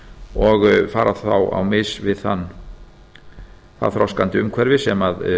og fara þá á mis við það þroskandi umhverfi sem